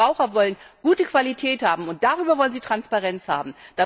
Ich denke, Verbraucher wollen gute Qualität haben, und darüber wollen sie Transparenz haben.